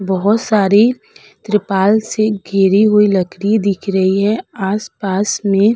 बहोत सारी त्रिपाल से घिरी हुई लकड़ी दिख रही है आस-पास में --